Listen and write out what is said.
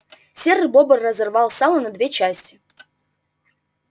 серый бобр разорвал сало на две части